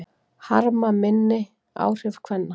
Harma minni áhrif kvenna